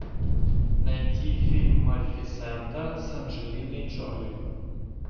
найти фильм малефисента с анджелиной джоли